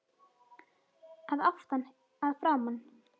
Að aftan, að framan?